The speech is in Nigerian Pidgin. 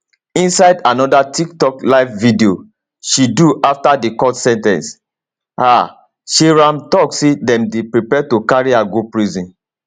inside anoda tiktok live video she do afta di court sen ten ce her seyram tok say dem dey prepare to carry her go prison